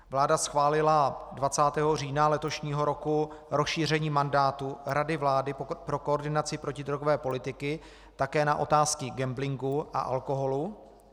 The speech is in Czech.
Vláda schválila 20. října letošního roku rozšíření mandátu Rady vlády pro koordinaci protidrogové politiky také na otázky gamblingu a alkoholu.